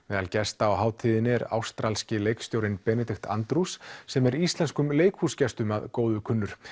meðal gesta á hátíðinni er ástralski leikstjórinn Benedict Andrews sem er íslenskum leikhúsgestum að góðu kunnur